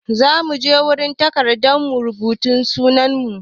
Za mu je wurin magatakarda mu rubuta sunan mu.